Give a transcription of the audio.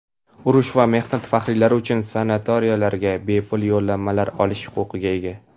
urush va mehnat faxriylari uchun sanatoriylariga bepul yo‘llanmalar olish huquqiga ega.